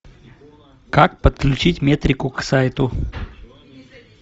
как подключить метрику к сайту